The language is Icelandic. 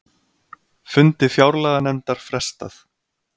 Fundi fjárlaganefndar frestað